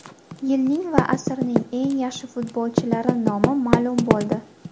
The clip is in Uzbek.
Yilning va asrning eng yaxshi futbolchilari nomi ma’lum bo‘ldi.